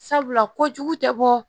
Sabula kojugu tɛ bɔ